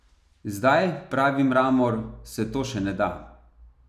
Zdaj, pravi Mramor, se to še ne da.